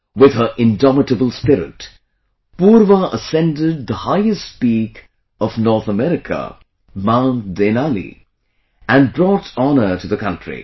With her indomitable spirit, Purva ascended the highest peak of North America Mount Denali and brought honour to the counry